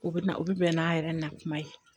U bɛ na u bɛ bɛn n'a yɛrɛ na kuma ye